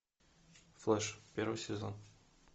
флэш первый сезон